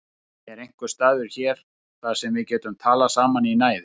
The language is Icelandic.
Er einhver staður hér þar sem við getum talað saman í næði?